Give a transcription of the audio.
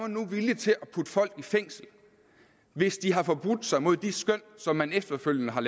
nu er villig til at putte folk i fængsel hvis de har forbrudt sig mod de skøn som man efterfølgende har